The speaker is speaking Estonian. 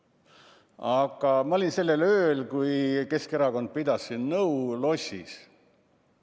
Aga ma olin sellel ööl, kui Keskerakond pidas siin nõu, lossis.